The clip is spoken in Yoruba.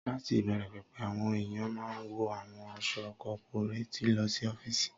Láti ìbẹ̀rẹ̀ pẹ̀pẹ̀, àwọn èèyàn máa n wọ àwọn aṣọ kọ́púréètì lọ sí ọ́fìsì